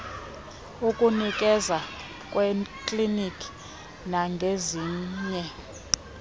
ukunikeza ngeekliniki nangezinye